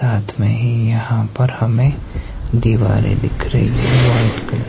रात में ही यहां पर हमें दीवारें दिख रही है वाइट कलर --